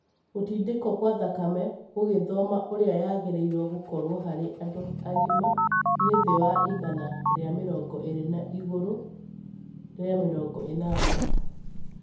Gũtindĩko kwa thakame gũgĩthoma ũrĩa yagĩrĩrwo gũkoro harĩ andu angima nĩ thĩ wa igana rĩa mĩrongo ĩrĩ na igũrũ rĩa mĩrongo ĩnana.